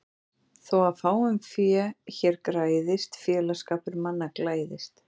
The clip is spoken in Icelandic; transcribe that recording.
Þó að fáum fé hér græðist félagsskapur manna glæðist.